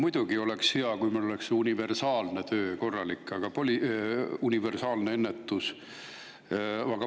Muidugi oleks hea, kui meil oleks see universaalne ennetus korralik.